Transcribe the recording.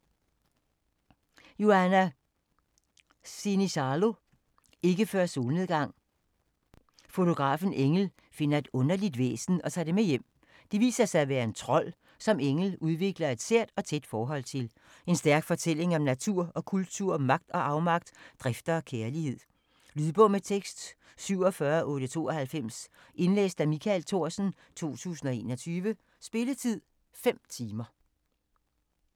Sinisalo, Johanna: Ikke før solnedgang Fotografen Engel finder et underligt væsen og tager det med hjem. Det viser sig at være en trold, som Engel udvikler et sært og tæt forhold til. En stærk fortælling om natur og kultur, magt og afmagt, drifter og kærlighed. Lydbog med tekst 47892 Indlæst af Michael Thorsen, 2021. Spilletid: 5 timer, 0 minutter.